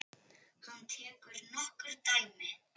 Hann tekur nokkur dæmi.